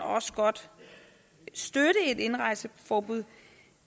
også godt støtte et indrejseforbud